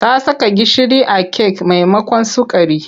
Ta saka gishiri a kek maimakon sukari.